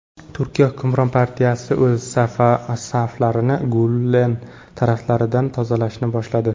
Turkiya hukmron partiyasi o‘z saflarini Gulen tarafdorlaridan tozalashni boshladi.